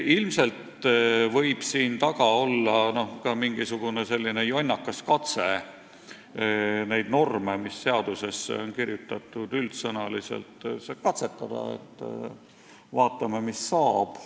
Ilmselt võib siin taga olla mingisugune jonnakas katse neid norme, mis seadusesse on üldsõnaliselt kirjutatud, katsetada põhimõttel, et vaatame, mis saab.